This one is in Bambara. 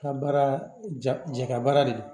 Ka baara jakɛ baara de